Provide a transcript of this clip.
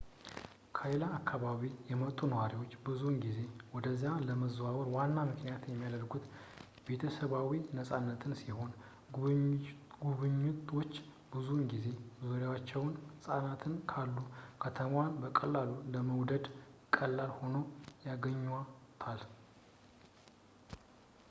ከሌላ አካባቢ የመጡ ነዋሪዎች ብዙውን ጊዜ ወደዚያ ለመዛወር ዋና ምክንያት የሚያደርጉት ቤተሰባዊ-ነጻነትን ሲሆን ጎብኝዎች ብዙውን ጊዜ በዙሪያቸው ሕፃናት ካሉ ከተማዋን በቀላሉ ለመውደድ ቀላል ሆና ያገኟታል